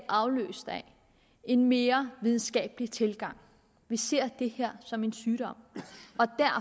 afløst af en mere videnskabelig tilgang vi ser det her som en sygdom